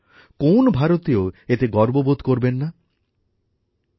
কোন ভারতীয় এতে গর্ববোধ করবেন না বলুন তো